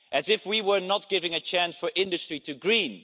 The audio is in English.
as if we were not giving a chance for industry to green.